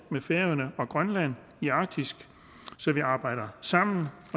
med færøerne og grønland i arktis så vi arbejder sammen